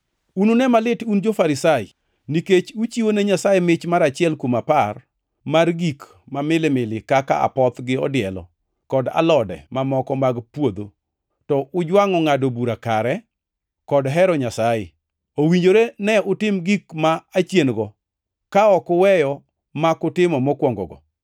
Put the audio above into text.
“Unune malit un jo-Farisai, nikech uchiwo ne Nyasaye mich mar achiel kuom apar mar gik ma milimili kaka apoth gi odielo, kod alode mamoko mag puodho, to ujwangʼo ngʼado bura kare kod hero Nyasaye. Owinjore ne utim gik ma achien-go, ka ok uweyo mak utimo mokwongogo.